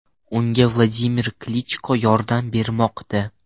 Unga Vladimir Klichko yordam bermoqda .